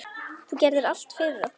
Þú gerðir allt fyrir okkur.